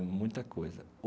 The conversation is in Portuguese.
É muita coisa.